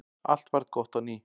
Allt varð gott á ný.